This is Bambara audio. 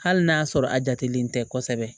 Hali n'a sɔrɔ a jatilen tɛ kosɛbɛ